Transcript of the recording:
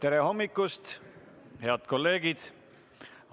Tere hommikust, head kolleegid!